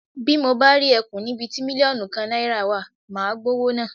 Bí mo bá rí e̩kùn níbi ti mílíò̩nù kan náìràa wa, màá gbówó náà.